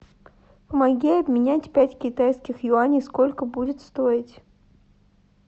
помоги обменять пять китайских юаней сколько будет стоить